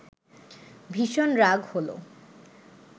ভীষণ রাগ হলো